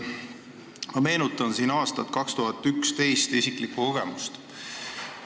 Ma meenutan aastat 2011 ja isiklikku kogemust.